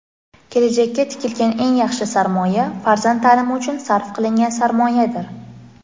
Kelajakka tikilgan eng yaxshi sarmoya — farzand taʼlimi uchun sarf qilingan sarmoyadir.